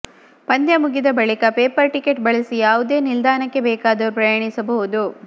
ಪಂದ್ಯ ಮುಗಿದ ಬಳಿಕ ಪೇಪರ್ ಟಿಕೆಟ್ ಬಳಸಿ ಯಾವುದೇ ನಿಲ್ದಾಣಕ್ಕೆ ಬೇಕಾದರೂ ಪ್ರಯಾಣಿಸಬಹುದು